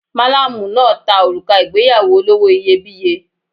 Malamu náà ta òrùka ìgbéyàwó olówó iyebíye.